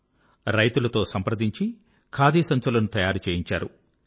వారు రైతులతో సంప్రదించి ఖాదీ సంచులను తయారు చేయించారు